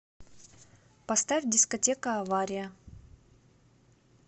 поставь дискотека авария